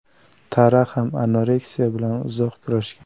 Tara ham anoreksiya bilan uzoq kurashgan.